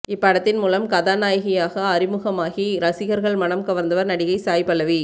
இப்படத்தின் மூலம் கதாநாயகியாக அறிமுகம் ஆகி ரசிகர்கள் மனம் கவந்தவர் நடிகை சாய் பல்லவி